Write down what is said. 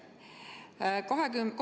Hea minister!